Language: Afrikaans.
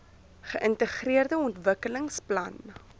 geintegreerde ontwikkelings plan